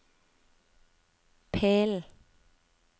pillen